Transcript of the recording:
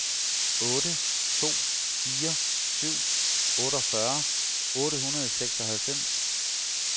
otte to fire syv otteogfyrre otte hundrede og seksoghalvfems